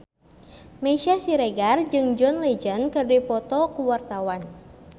Meisya Siregar jeung John Legend keur dipoto ku wartawan